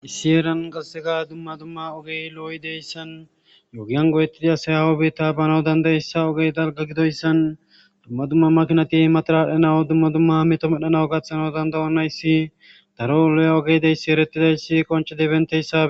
issi eran qassega dumma dumma ogey lo7oy deyssan yogiyan godettida sayawo be ta banaw dandayeyssa ogey dalga gidoyssan dumma dumma makinati matara adhanawu dumma dumma meto medhanawu gaththanau dandayonayssi daro lo7a ogeydeyssi erettidayssi qonce di benteyssae